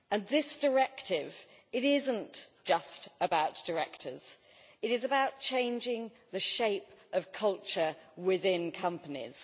This directive is not just about directors, it is about changing the shape of culture within companies.